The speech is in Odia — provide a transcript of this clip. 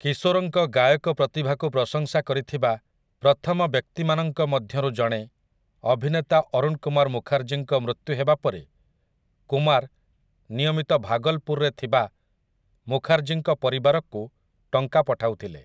କିଶୋର୍‌ଙ୍କ ଗାୟକ ପ୍ରତିଭାକୁ ପ୍ରଶଂସା କରିଥିବା ପ୍ରଥମ ବ୍ୟକ୍ତିମାନଙ୍କ ମଧ୍ୟରୁ ଜଣେ, ଅଭିନେତା ଅରୁଣ୍ କୁମାର୍ ମୁଖାର୍ଜୀଙ୍କ ମୃତ୍ୟୁ ହେବା ପରେ କୁମାର୍ ନିୟମିତ ଭାଗଲ୍‌ପୁର୍‌ରେ ଥିବା ମୁଖାର୍ଜୀଙ୍କ ପରିବାରକୁ ଟଙ୍କା ପଠାଉଥିଲେ ।